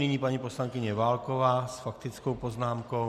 Nyní paní poslankyně Válková s faktickou poznámkou.